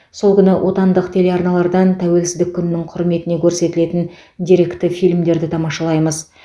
сол күні отандық телеарналардан тәуелсіздік күнінің құрметіне көрсетілетін деректі фильмдерді тамашалаймыз